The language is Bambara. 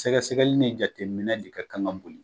Sɛgɛsɛgɛli ni jateminɛ de ka kan ka boli